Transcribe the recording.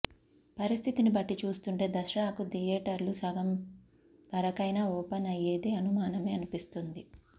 పరిస్థితిని బట్టి చూస్తుంటే దసరాకు థియేటర్లు సగం వరకైనా ఓపెన్ అయ్యేది అనుమానమే అనిపిస్తుంది